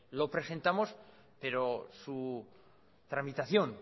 lo presentamos pero su tramitación